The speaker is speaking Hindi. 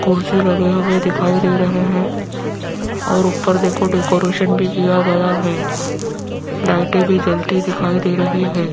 कुर्सी लगे हुए दिखाई दे रहे है और ऊपर देखो डेकोरेशन भी किया गया है लाइटे भी जलती दिखाई दे रही है।